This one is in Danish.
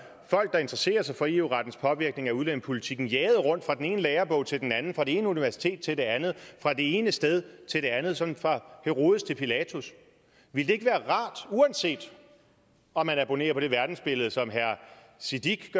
der interesserer sig for eu rettens påvirkning af udlændingepolitikken jaget rundt fra den ene lærebog til den anden fra det ene universitet til det andet fra det ene sted til det andet sådan fra herodes til pilatus ville det ikke være rart uanset om man abonnerer på det verdensbillede som herre siddique